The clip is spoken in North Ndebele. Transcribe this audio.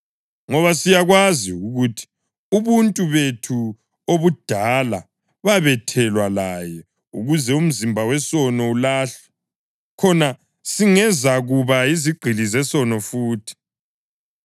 Ngoba siyakwazi ukuthi ubuntu bethu obudala babethelwa laye ukuze umzimba wesono ulahlwe, khona singezukuba yizigqili zesono futhi,